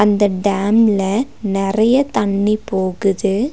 அந்த டேம்ல நெறையா தண்ணீ போகுது.